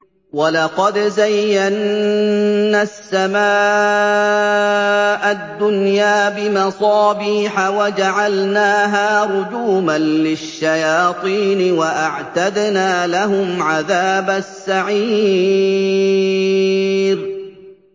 وَلَقَدْ زَيَّنَّا السَّمَاءَ الدُّنْيَا بِمَصَابِيحَ وَجَعَلْنَاهَا رُجُومًا لِّلشَّيَاطِينِ ۖ وَأَعْتَدْنَا لَهُمْ عَذَابَ السَّعِيرِ